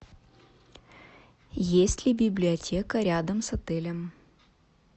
есть ли библиотека рядом с отелем